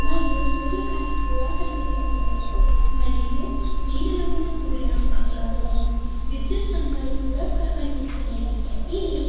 మరియు సూర్య కాంతి కూడా కనిపిస్తున్నది. మరియు నీలి రంగుతో కూడిన ఆకాశం విద్యుత్ స్తంభాలు కూడా కనిపిస్తున్నాయి.